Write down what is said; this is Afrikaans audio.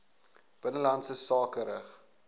binnelandse sake rig